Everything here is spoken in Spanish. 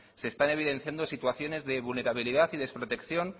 se están evidenciando situaciones de vulnerabilidad y desprotección